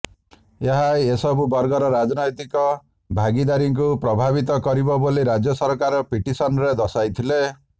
ଏହା ଏସବୁ ବର୍ଗର ରାଜନୈତିକ ଭାଗିଦାରୀକୁ ପ୍ରଭାବିତ କରିବ ବୋଲି ରାଜ୍ୟ ସରକାର ପିଟିସନ୍ରେ ଦର୍ଶାଇଥିଲେ